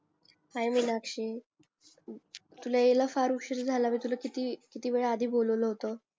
हाय मीनाक्षी तुला याला फार उशीर झाला ग तुला किती किती वेळा आधी बोलावलं होत